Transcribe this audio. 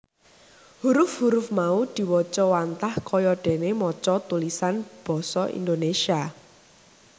Huruf huruf mau diwaca wantah kaya dene maca tulisan Basa Indonesia